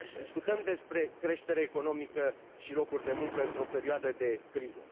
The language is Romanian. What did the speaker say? Discutăm despre creștere economică și locuri de muncă într o perioadă de criză.